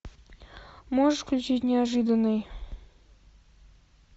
можешь включить неожиданный